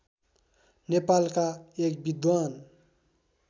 नेपालका एक विद्वान